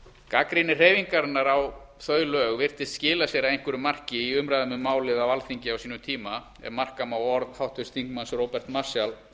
gagnrýni hreyfingarinnar á þau lög virtist skila sér að einhverju marki í umræðum um málið á alþingi á sínum tíma ef marka má orð háttvirts þingmanns róberts marshall